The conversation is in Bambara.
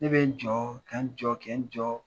Ne bɛ n jɔ ka n jɔ ka n jɔ: